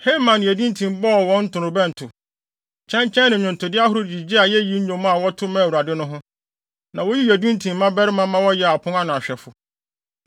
Heman ne Yedutun bɔɔ wɔn ntorobɛnto, kyɛnkyɛn ne nnwontode ahorow de gyigyee ayeyi nnwom a wɔto maa Onyankopɔn no ho. Na woyii Yedutun mmabarima ma wɔyɛɛ apon ano hwɛfo.